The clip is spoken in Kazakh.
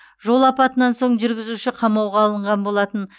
жол апатынан соң жүргізуші қамауға алынған болатын